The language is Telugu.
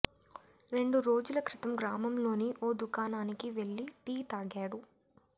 రెండు రోజుల క్రితం గ్రామంలోని ఓ దుకాణానికి వెళ్లి టీ తాగాడు